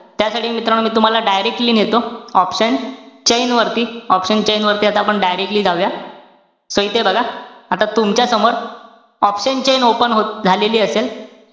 त्यासाठी मित्रांनो, तूम्हाला directly नेतो option chain वरती. Option chain वरती आता आपण directly जाऊया. So, इथे बघा. आता तुमच्या समोर option chain open झालेली असेल.